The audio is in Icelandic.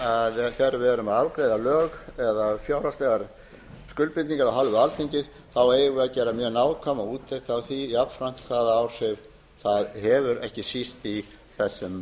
erum að afgreiða lög eða fjárhagslegar skuldbindingar af hálfu alþingis þá eigum við að gera mjög nákvæma úttekt á því jafnframt hvaða áhrif það hefur ekki síst í þessum